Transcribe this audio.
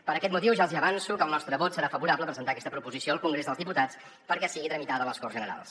per aquest motiu ja els avanço que el nostre vot serà favorable a presentar aquesta proposició al congrés dels diputats perquè sigui tramitada a les corts generals